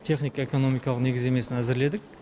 техника экономикалық негіздемесін әзірледік